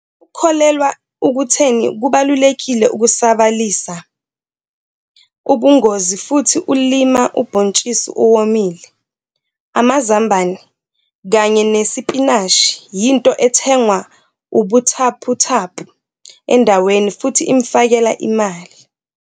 Ukholelwa ukutheni kubalulekile ukusabalalisa ubungozi futhi ulima ubhontshisi owomile, amazambane kanye nesipinashi yinto ethengwa ubuthaphuthaphu endaweni futhi imfakela imali.